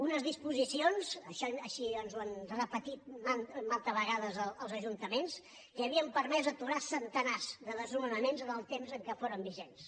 unes disposicions així ens ho han repetit mantes vegades els ajuntaments que havien permès aturar centenars de desnonaments en el temps en què foren vigents